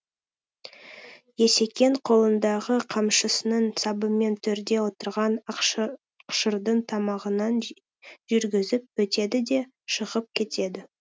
есекең қолындағы қамшысының сабымен төрде отырған ақшырдың тамағынан жүргізіп өтеді де шығып кетеді